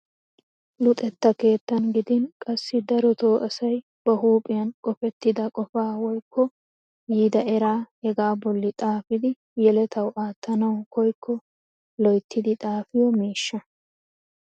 Luxettan keettan gidin qassi darotoo asay ba huuphphiyaan qofettida qofaa woykko yiida eraa hegaa bolli xaafidi yeletawu aattanawu koyikko loyttidi xaafiyoo miishsha!